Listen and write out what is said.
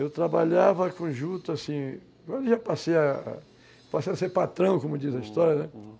Eu trabalhava com juta assim, agora já passei a a ser patrão, como diz a história, né? Uhum.